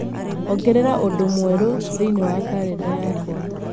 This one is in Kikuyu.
ongerera ũndũ mwerũ thĩinĩ wa kalenda yakwa